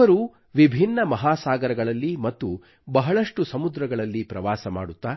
ಅವರು ವಿಭಿನ್ನ ಮಹಾಸಾಗರಗಳಲ್ಲಿ ಮತ್ತು ಬಹಳಷ್ಟು ಸಮುದ್ರಗಳಲ್ಲಿ ಪ್ರವಾಸ ಮಾಡುತ್ತಾ